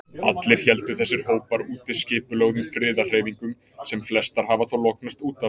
Allir héldu þessir hópar úti skipulögðum friðarhreyfingum, sem flestar hafa þó lognast út af.